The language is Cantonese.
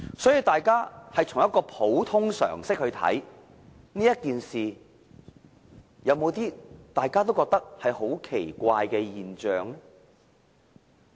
所以，大家憑普通常識來看這件事，是否也感到有些十分奇怪的現象呢？